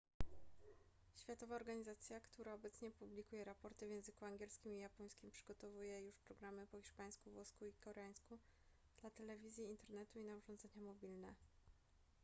światowa organizacja która obecnie publikuje raporty w języku angielskim i japońskim przygotowuje już programy po hiszpańsku włosku i koreańsku dla telewizji internetu i na urządzenia mobilne